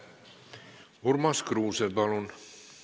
Urmas Kruuse, palun!